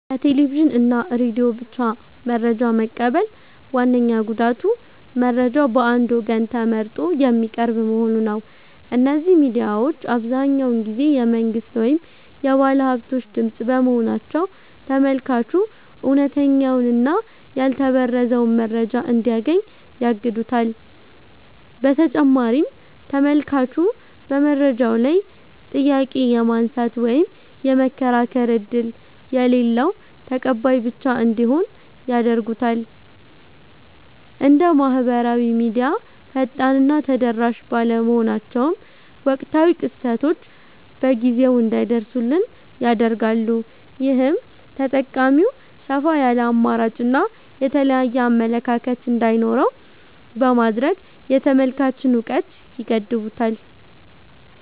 ከቴሌቪዥን እና ሬዲዮ ብቻ መረጃ መቀበል ዋነኛው ጉዳቱ መረጃው በአንድ ወገን ተመርጦ የሚቀርብ መሆኑ ነው። እነዚህ ሚዲያዎች አብዛኛውን ጊዜ የመንግሥት ወይም የባለሃብቶች ድምፅ በመሆናቸው፤ ተመልካቹ እውነተኛውንና ያልተበረዘውን መረጃ እንዳያገኝ ያግዱታል። በተጨማሪም ተመልካቹ በመረጃው ላይ ጥያቄ የማንሳት ወይም የመከራከር ዕድል የሌለው ተቀባይ ብቻ እንዲሆን ያደርጉታል። እንደ ማኅበራዊ ሚዲያ ፈጣንና ተደራሽ ባለመሆናቸውም፣ ወቅታዊ ክስተቶች በጊዜው እንዳይደርሱን ያደርጋሉ። ይህም ተጠቃሚው ሰፋ ያለ አማራጭና የተለያየ አመለካከት እንዳይኖረው በማድረግ የተመልካችን እውቀት ይገድቡታል።